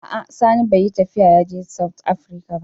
A'a sani bai yi tafiya yaje "south Africa " ba.